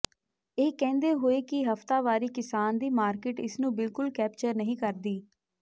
ਇਹ ਕਹਿੰਦੇ ਹੋਏ ਕਿ ਹਫ਼ਤਾਵਾਰੀ ਕਿਸਾਨ ਦੀ ਮਾਰਕੀਟ ਇਸ ਨੂੰ ਬਿਲਕੁਲ ਕੈਪਚਰ ਨਹੀਂ ਕਰਦੀ